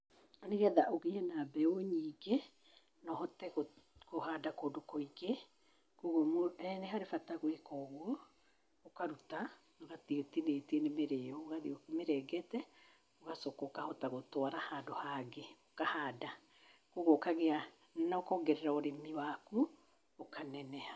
Nĩgetha ũgĩe na mbeũ nyingĩ, na ũhote kũhanda kũndũ kũingĩ, ũguo nĩ harĩ bata gwĩka ũguo, ũkaruta ũgathiĩ ũtinĩtie nĩ mĩrĩyo, ũgathiĩ ũmĩrengete, ũgacoka ũkahota gũtwara handũ hangĩ ũkahanda ũguo ũkagĩa na ũkongerera ũrĩmi waku, ũkaneneha.